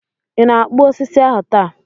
Ị na-akpụ osisi ahu taa?